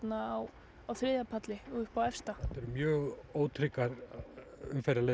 á á þriðja palli og upp á efsta mjög ótryggar